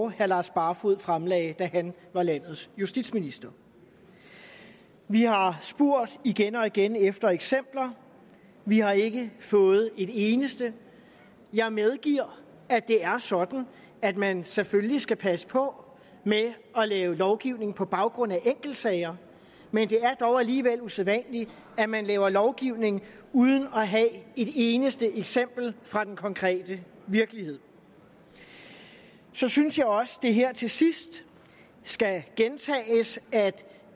herre lars barfoed fremsatte da han var landets justitsminister vi har spurgt igen og igen efter eksempler vi har ikke fået et eneste jeg medgiver at det er sådan at man selvfølgelig skal passe på med at lave lovgivning på baggrund af enkeltsager men det er dog alligevel usædvanligt at man laver lovgivning uden at have et eneste eksempel fra den konkrete virkelighed så synes jeg også at det her til sidst skal gentages at